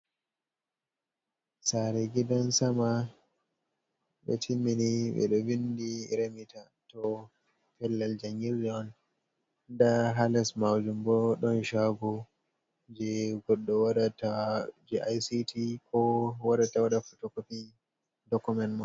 Saare gidan sama ɓe timmini ɓe ɗo vinti remita, to pellel jangirde on. Nda haa les maujum bo ɗon shagu je goɗɗo waɗata ko ICT, ko warsta waɗa fotokofi dokument ma.